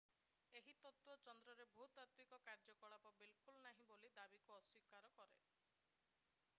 ଏହି ତତ୍ତ୍ୱ ଚନ୍ଦ୍ରରେ ଭୂତାତ୍ତ୍ୱିକ କାର୍ଯ୍ୟକଳାପ ବିଲକୁଲ ନାହିଁ ବୋଲି ଦାବିକୁ ଅସ୍ୱୀକାର କରେ